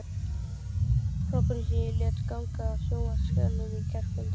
hrópunum sem ég lét ganga af sjónvarpsskjánum í gærkvöldi.